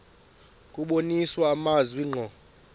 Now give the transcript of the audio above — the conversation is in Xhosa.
kubonisa amazwi ngqo